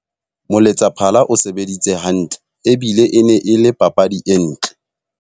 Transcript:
Moletsaphala o sebeditse hantle ebile e ne e le papadi e ntle.